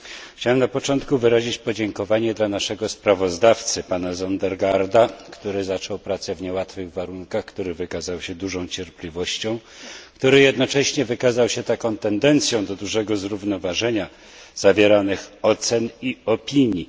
Chciałem na początku wyrazić podziękowanie dla naszego sprawozdawcy pana Søndergaarda, który zaczął pracę w niełatwych warunkach, który wykazał się dużą cierpliwością, który jednocześnie wykazał się taką tendencją do dużego zrównoważenia zawieranych ocen i opinii.